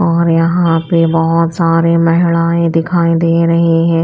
और यहां पे बहोत सारे महिलाएं दिखाई दे रही हैं।